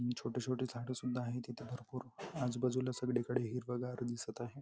आणि छोटे छोटे झाडे सुद्धा आहेत इथे भरपूर आजूबाजूला संगळीकड हिरावगार दिसत आहे.